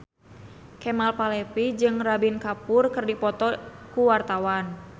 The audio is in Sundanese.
Kemal Palevi jeung Ranbir Kapoor keur dipoto ku wartawan